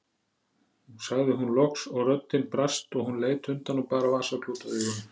sagði hún loks og röddin brast og hún leit undan og bar vasaklút að augunum.